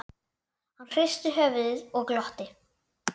Hann hristi höfuðið og glotti.